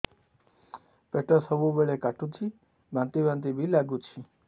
ପେଟ ସବୁବେଳେ କାଟୁଚି ବାନ୍ତି ବାନ୍ତି ବି ଲାଗୁଛି